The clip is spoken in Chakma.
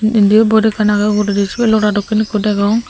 indiyo bot ekkan agey uguredi sibey lota dokken ikko degong.